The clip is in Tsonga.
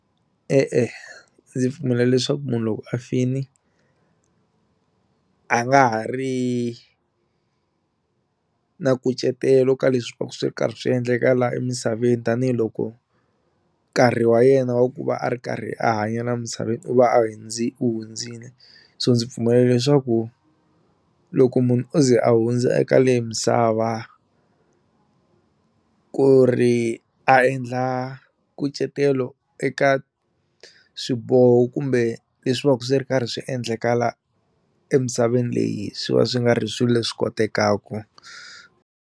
E-e ndzi pfumela leswaku munhu loko a fini a nga ha ri na nkucetelo ka leswi va ku swi ri karhi swi endleka laha emisaveni tanihiloko nkarhi wa yena wa ku va a ri karhi a hanya la misaveni u va a wu hundzile so ndzi pfumela leswaku loko munhu o ze a hundza eka leyi misava ku ri a endla nkucetelo eka swiboho kumbe leswi va ku swi ri karhi swi endleka la emisaveni leyi swi va swi nga ri swilo leswi kotekaku.